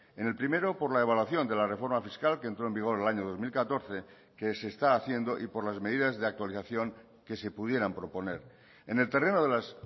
en el primero por la evaluación de la reforma fiscal que entró en vigor el año dos mil catorce que se está haciendo y por las medidas de actualización que se pudieran proponer en el terreno de las